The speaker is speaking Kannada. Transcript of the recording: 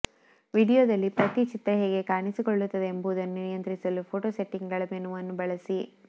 ವೀಡಿಯೊದಲ್ಲಿ ಪ್ರತಿ ಚಿತ್ರ ಹೇಗೆ ಕಾಣಿಸಿಕೊಳ್ಳುತ್ತದೆ ಎಂಬುದನ್ನು ನಿಯಂತ್ರಿಸಲು ಫೋಟೋ ಸೆಟ್ಟಿಂಗ್ಗಳ ಮೆನುವನ್ನು ಬಳಸಿ